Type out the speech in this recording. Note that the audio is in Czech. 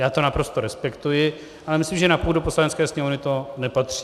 Já to naprosto respektuji, ale myslím, že na půdu Poslanecké sněmovny to nepatří.